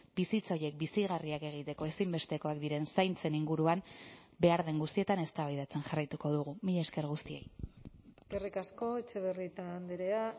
bizitza horiek bizigarriak egiteko ezinbestekoak diren zaintzen inguruan behar den guztietan eztabaidatzen jarraituko dugu mila esker guztiei eskerrik asko etxebarrieta andrea